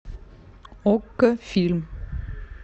окко фильм